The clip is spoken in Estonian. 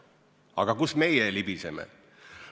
Aga kuhu meie libiseme?